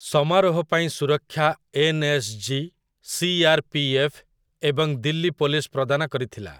ସମାରୋହ ପାଇଁ ସୁରକ୍ଷା ଏନ୍‌.ଏସ୍.ଜି., ସି.ଆର୍.ପି.ଏଫ୍. ଏବଂ ଦିଲ୍ଲୀ ପୋଲିସ ପ୍ରଦାନ କରିଥିଲା ।